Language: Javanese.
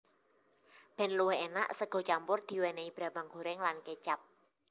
Ben luwih enak sega campur diwenehi brambang goreng lan kecap